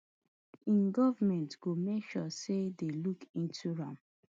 im goment go make sure say dem look into am